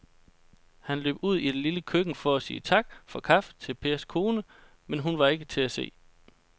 Han løb ud i det lille køkken for at sige tak for kaffe til Pers kone, men hun var ikke til at se.